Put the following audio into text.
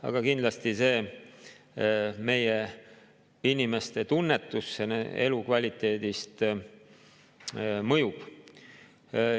Aga kindlasti see meie inimeste tunnetusele elukvaliteedist mõjub.